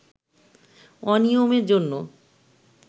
অনিয়মের জন্য